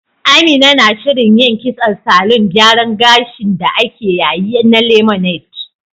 Amina na shirin yin kitson salon gyaran gashin da ake yayi na Lemonade